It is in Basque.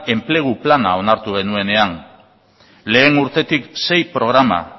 enplegu plana onartu genuenean lehengo urtetik sei programa